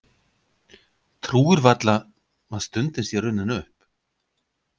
Trúir varla að stundin sé runnin upp.